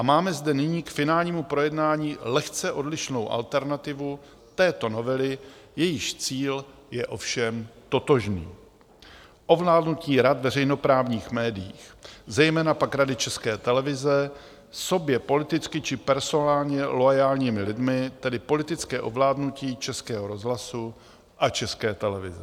A máme zde nyní k finálnímu projednání lehce odlišnou alternativu této novely, jejíž cíl je ovšem totožný: ovládnutí rad veřejnoprávních médií, zejména pak Rady České televize, sobě politicky či personálně loajálními lidmi, tedy politické ovládnutí Českého rozhlasu a České televize.